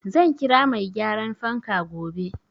Zan kira mai gyaran fanka gobe.